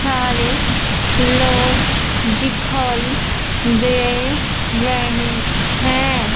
सारे लोग दिखाई दे रहे हैं।